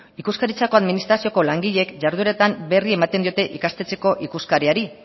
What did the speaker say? ikuskaritzako administrazioko langileek jardueretan berri ematen diote ikastetxeko ikuskariari